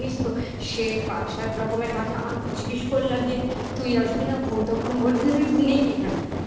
জানিস তো সে পাঁচ সাত রকমের ভাজা আমি জিজ্ঞেস করলাম যে তুই আসবি না ও তখন বলল যে তুই নেই এখানে